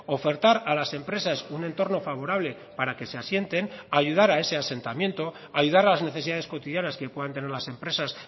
ofertar a las empresas un entorno favorable para que se asienten ayudar a ese asentamiento ayudar a las necesidades cotidianas que puedan tener las empresas